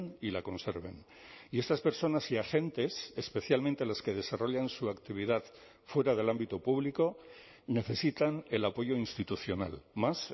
y la conserven y estas personas y agentes especialmente las que desarrollan su actividad fuera del ámbito público necesitan el apoyo institucional más